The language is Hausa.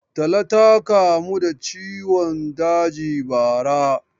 Tala ta kamu da ciwon daji bara.